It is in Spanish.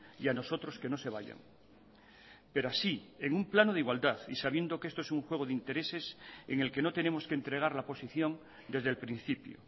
y a nosotros que no se vayan pero así en un plano de igualdad y sabiendo que esto es un juego de intereses en el que no tenemos que entregar la posición desde el principio